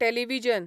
television